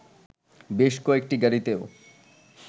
বেশ কয়েকটি গাড়িতেও